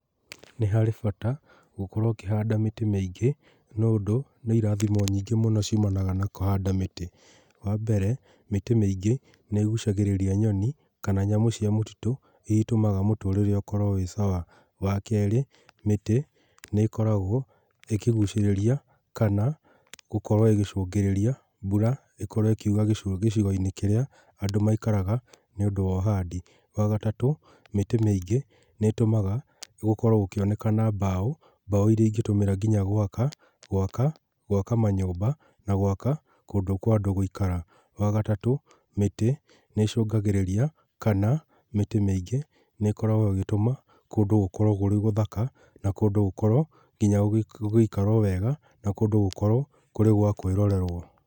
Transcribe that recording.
Nĩ harĩ bata gũkorwo ũkĩhanda mĩtĩ mĩingĩ, nĩ ũndũ nĩ ĩrathimo nyĩngĩ mũno cĩũmanaga na kũhanda mĩtĩ. Wa mbeere mĩtĩ mĩingĩ nĩ ĩgũcagĩrĩria nyonĩ kana nyamũ cĩa mũtĩtu ĩrĩa ĩtũmaga mũtũrĩre ũkorwo wĩ sawa. Wa keerĩ mĩtĩ nĩ ĩkoragwo ĩkĩgũcĩrĩria kana gũkorwo ĩgĩcungĩrĩria mbũra ĩkorwo ĩkĩũra gĩcigo-ĩnĩ kĩrĩa maĩkaraga ni ũndũ wa ũhandĩ. Wa gatatũ, mĩtĩ mĩingĩ nĩ ĩtũmaga gũkorwo gũkĩonekana mbao ,mbao ĩrĩa ĩnĩtũmira ngĩnya gwaka. Gwaka manyũmba na gwaka kũndũ kwa andũ gũĩkara. Wa gatatũ mĩtĩ nĩ ĩcũngagĩrĩria kana mĩtĩ mĩingi nĩ ĩtũmaga kũndũ gũkorwo gwĩ gũthaka na kũndũ gũkorwo gũgĩikarwo weega na kũndũ gũkorwo kũri gwa kwrĩrorerwo.